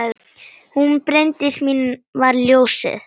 Hún Bryndís mín var ljósið.